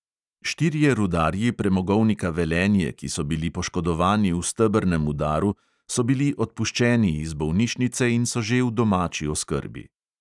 Štirje rudarji premogovnika velenje, ki so bili poškodovani v stebrnem udaru, so bili odpuščeni iz bolnišnice in so že v domači oskrbi.